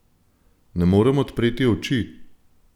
Ne morem odpreti oči!